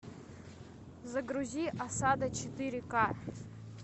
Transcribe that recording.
загрузи осада четыре к